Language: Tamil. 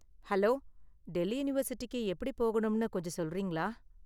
ஹலோ, டெல்லி யூனிவர்சிட்டிக்கு எப்படி போகனும்னு கொஞ்சம் சொல்றீங்களா?